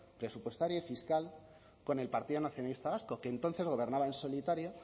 presupuestario y fiscal con el partido nacionalista vasco que entonces gobernaba en solitario